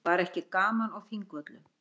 Var ekki gaman á Þingvöllum?